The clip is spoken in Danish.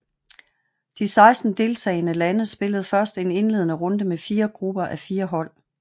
De 16 deltagende lande spillede først en indledende runde med 4 grupper á 4 hold